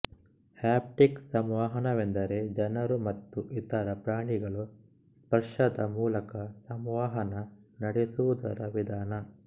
haptic ಸಂವಹನವೆಂದರೆ ಜನರು ಮತ್ತು ಇತರ ಪ್ರಾಣಿಗಳು ಸ್ಪರ್ಶದ ಮೂಲಕ ಸಂವಹನ ನಡೆಸುವುದರ ವಿಧಾನ